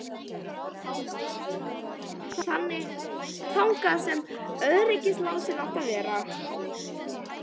Fingur teygði sig þangað sem öryggislásinn átti að vera.